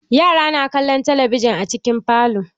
Yara na kallon talabijin a cikin falo.